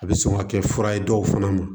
A bɛ sɔn ka kɛ fura ye dɔw fana ma